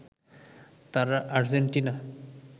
তারা আর্জেন্টিনা